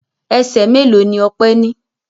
Ẹsẹ̀ mélòó ni Ọpẹ́ ní?